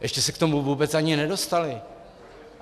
Ještě se k tomu vůbec ani nedostali.